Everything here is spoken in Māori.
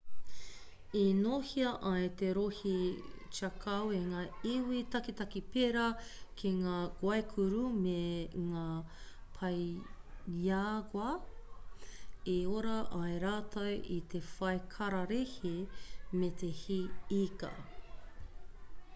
i nōhia ai te rohe chaco e ngā iwi taketake pērā ki ngā guaycur'u me ngā payagu'a i ora ai rātou i te whai kararehe me te hī ika